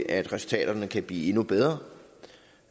at resultaterne kan blive endnu bedre